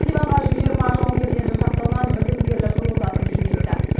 ливанға жүз жиырма жауынгерден жасақталған бітімгерлік ротасын жөнелтті